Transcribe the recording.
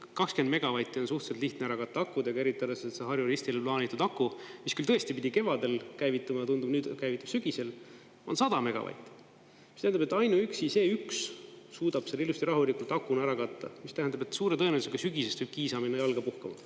20 megavatti on suhteliselt lihtne ära katta akudega, eriti arvestades seda Harju-Ristile plaanitud akut, mis küll tõesti pidi kevadel käivituma, tundub, nüüd käivitub sügisel, on 100 megavatti, mis tähendab, et ainuüksi see üks suudab selle ilusti rahulikult akuna ära katta, mis tähendab, et suure tõenäosusega sügisest võib Kiisa minna jalga puhkama.